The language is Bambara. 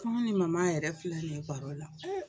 Fo ne ni Mama yɛrɛ filɛ nin ye baro la